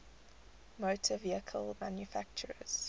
motor vehicle manufacturers